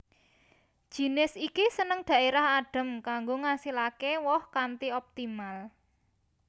Jinis iki seneng dhaérah adhem kanggo ngasilake woh kanthi optimal